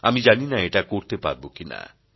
আমি জানি না এটা করতে পারব কি না